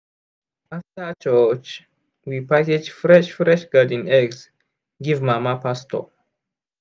after church we package fresh fresh garden eggs give mama pastor.